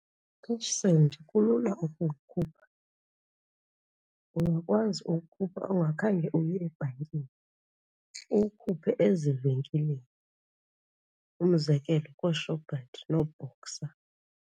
UCashSend kulula ukuwukhupha, uyakwazi uwukhupha ungakhange uye ebhankini, uwukhuphe ezivenkileni umzekelo kooShoprite nooBoxer.